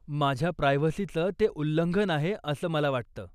माझ्या प्रायव्हसीचं ते उल्लंघन आहे असं मला वाटतं.